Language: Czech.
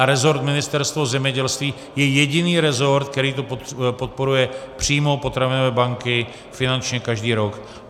A resort Ministerstva zemědělství je jediný resort, který to podporuje, přímo potravinové banky, finančně každý rok.